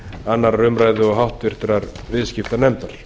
annarrar umræðu og háttvirtur viðskiptanefndar